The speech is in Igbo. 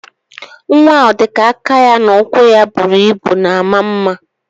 Nwa odika aka ya na ụkwụ ya buru ibu na ama mma.